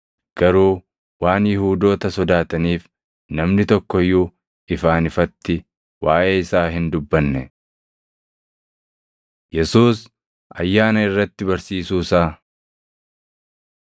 Garuu waan Yihuudoota sodaataniif namni tokko iyyuu ifaan ifatti waaʼee isaa hin dubbanne. Yesuus Ayyaana Irratti Barsiisuu Isaa